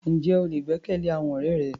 Ǹjẹ́ o lè gbẹ́kẹ̀lé àwọn ọ̀rẹ́ rẹ?